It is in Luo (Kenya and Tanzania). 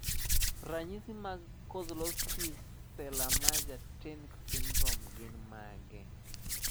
Ranyisi mag Kozlowski Celermajer Tink syndrome gin mage?